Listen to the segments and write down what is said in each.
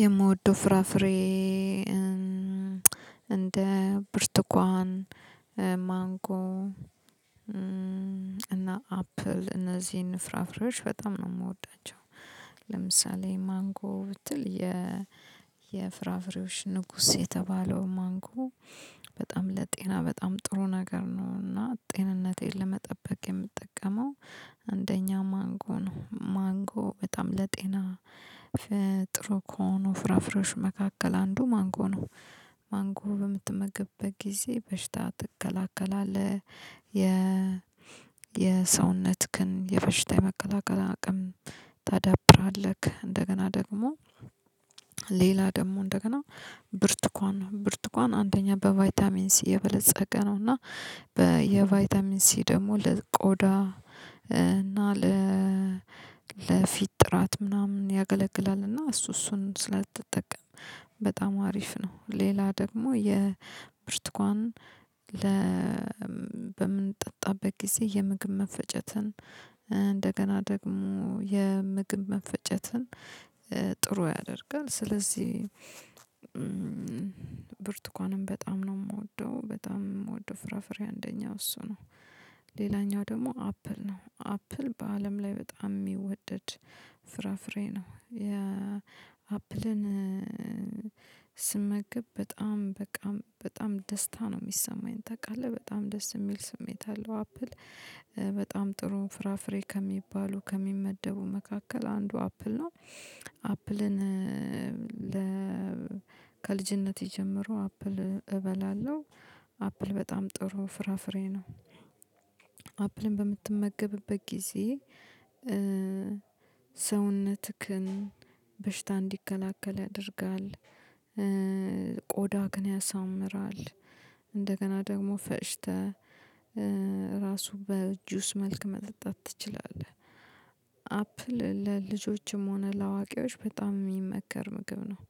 የምወደው ፍራፍሬ እንደ ብርቱኳን ማንጎ እና አፕል እነዚህን ፍራፍሬዎች በጣም ነው የምወዳቸው። ለምሳሌ ማንጎ ብትል የ የፍራፍሬዎች ንጉስ የተባለው ማንጎ በጣም ለጤና በጣም ጥሩ ነገር ነው። እና ጤንነቴን ለመጠበቅ የምጠቀመው። አንደኛ ማንጎ ነው ማንጎ በጣም ለጤና ከሆኑ ፍራፍሬዎች መካከል አንዱ ማንጎ ነው። ማንጎ በምትመገብበት ጊዜ በሽታ ትከላከላለህ የ የሰውነትህን የበሽታ የመከላከል አቅም ታዳብራለህ። እንደገና ደግሞ ሌላ ደግሞ እንደገና ብርቱኳን ብርቱኳን አንደኛ በቫይታሚን ሲ የበለፀገ ነው። እና በየቫይታሚን ሲ ደግሞ ለቆዳ እና ለፊት ጥራት ምናምን ያገለግላል እሱ እሱን ስለ ተጠቀም በጣም አሪፍ ነው። ሌላ ደግሞ የብርቱካንን ለ በምንጠጣበት ጊዜ የምግብ መፈጨትን እንደገና ደግሞ የምግብ መፈጨትን ጥሩ ያደርጋል። ስለዚህ ብርቱካንም በጣም ነው የምወደው በጣም የምወደው ፍራፍሬ አንደኛው እሱ ነው። ሌላኛው ደሞ አፕል ነው አፕል በአለም ላይ በጣም የሚወደድ ፍራፍሬ ነው። የአፕልን ስመገብ በጣም በጣም በጣም ደስታ ነው የሚሰማኝ ታውቃለህ በጣም ደስ የሚል ስሜት አለው። አፕል በጣም ጥሩም ፍራፍሬ ከሚባሉ ከሚመደቡ መካከል አንዱ አፕል ነው። አፕልን ለ ከልጅነቴ ጀምሮ አፕል እበላለሁ። አፕል በጣም ጥሩ ፍራፍሬ ነው። በምትመገብበት ጊዜ ሰውነትክን በሽታ እንዲከላከል ያደርጋል ቆዳክን ያሳምራል። እንደገና ደግሞ ፈጭተህ ራሱ በጁስ መልክ መጠጣት ትችላለህ። አፕል ለልጆችም ሆነ ለአዋቂዎች በጣም የሚመከር ምግብ ነው።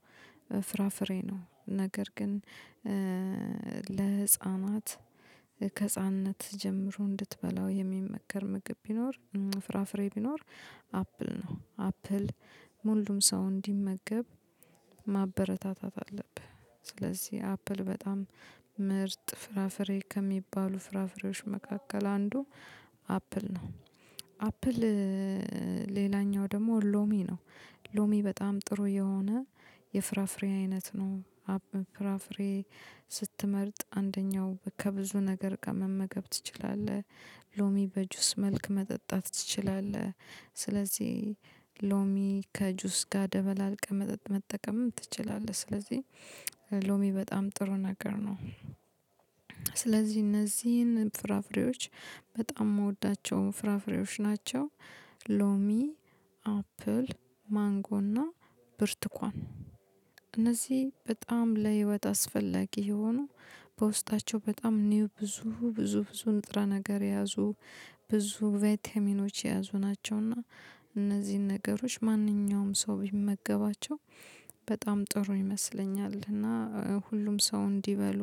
ፍራፍሬ ነው ነገር ግን ለህፃናት ከህፃንነት ጀምሮ እንድትበላው የሚመከር ምግብ ቢኖር ፍራፍሬ ቢኖር አፕል ነው። አፕል ሙሉም ሰው እንዲመገብ ማበረታታት አለብህ። ስለዚህ አፕል በጣም ምርጥ ፍራፍሬ ከሚባሉ ፍራፍሬዎች መካከል አንዱ አፕል ነው። አፕል ሌላኛው ደግሞ ሎሚ ነው። ሎሚ በጣም ጥሩ የሆነ የፍራፍሬ አይነት ነው። አብ ፍራፍሬ ስትመርጥ አንደኛው ከብዙ ነገር ጋር መመገብ ትችላለህ ሎሚ በጁስ መልክ መጠጣት ትችላለህ። ስለዚህ ሎሚ ከጁስ ጋር ደበላልቀህ መጠቀምም ትችላለህ ስለዚህ ሎሚ በጣም ጥሩ ነገር ነው። እነዚህን ፍራፍሬዎች በጣም የምወዳቸው ፍራፍሬዎች ናቸው። ሎሚ አፕል ማንጎና ብርቱካን እነዚህ በጣም ለህይወት አስፈላጊ የሆኑ በውስጣቸው በጣም ኒው ብዙ ብዙ ብዙ ንጥራ ነገር የያዙ ብዙ ቪታሚኖች የያዙ ናቸው። እና እነዚህን ነገሮች ማንኛውም ሰው ቢመገባቸው በጣም ጥሩ ይመስለኛል። እና ሁሉም ሰው እንዲበሉ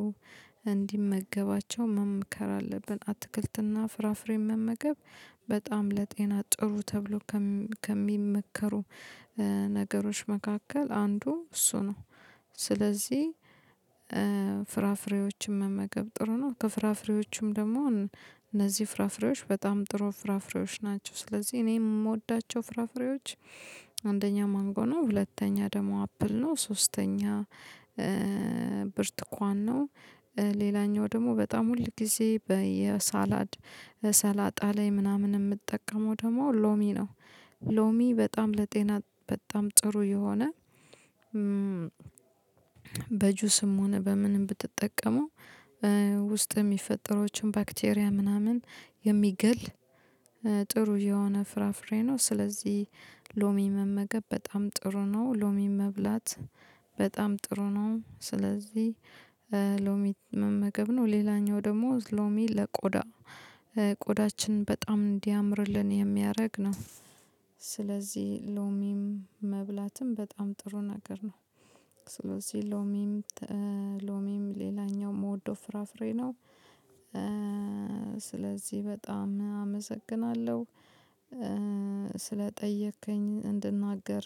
እንዲመገባቸው መምከር አለብን። አትክልትና ፍራፍሬን መመገብ በጣም ለጤና ጥሩ ተብሎ ከሚመከሩ ነገሮች መካከል አንዱ እሱ ነው። ስለዚህ ፍራፍሬዎችን መመገብ ጥሩ ነው ከፍራፍሬዎቹም ደግሞ እነዚህ ፍራፍሬዎች በጣም ጥሩ ፍራፍሬዎች ናቸው። ስለዚህ እኔ የምወዳቸው ፍራፍሬዎች አንደኛ ማንጎና ሁለተኛ ደግሞ አፕል ነው ሶስተኛ ብርቱካን ነው። ሌላኛው ደግሞ በጣም ሁል ጊዜ በየሳላድ ሰላጣ ላይ ምናምን የምጠቀመው ደግሞ ሎሚ ነው። ሎሚ በጣም ለጤና በጣም ጥሩ የሆነ በጁስም ሆነ በምንም ብትጠቀሙ ውስጥ የሚፈጠሩትን ባክቴሪያ ምናምን የሚገል ጥሩ የሆነ ፍራፍሬ ነው። ስለዚህ ሎሚ መመገብ በጣም ጥሩ ነው። ሎሚ መብላት በጣም ጥሩ ነው። ስለዚህ ሎሚ መመገብ ነው ሌላኛው ደግሞ ሎሚ ለቆዳ ቆዳችን በጣም እንዲያምርልን የሚያደርግ ነው። ስለዚህ ሎሚም መብላትም በጣም ጥሩ ነገር ነው። ስለዚህ ሎሚም ሎሚም ሌላኛው ምወደው ፍራፍሬ ነው። ስለዚህ በጣም አመሰግናለሁ ስለጠየከኝ እንድናገር